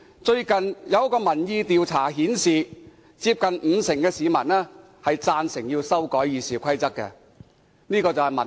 最近一項民意調查顯示，接近五成的市民贊成修改《議事規則》，這就是民意。